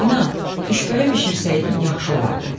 Ana, düşbərə bişirsəydin, yaxşı olardı.